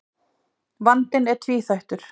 Vandinn er tvíþættur.